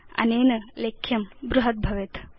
अनेन लेख्यं बृहत् भवेत्